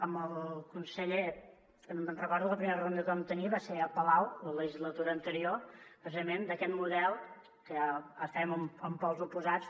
amb el conseller recordo que la primera reunió que vam tenir va ser al palau la legislatura anterior precisament sobre aquest model que estàvem en pols oposats